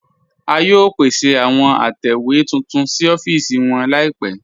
A yóò pèsè àwọn àtẹwe tuntun sí ọ̀fíìsì wọn laípẹ̀.